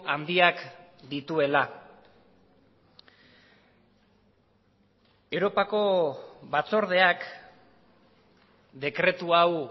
handiak dituela europako batzordeak dekretu hau